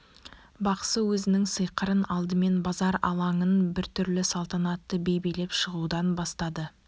бақсы өзінің сиқырын алдымен базар алаңын біртүрлі салтанатты би билеп шығудан бастады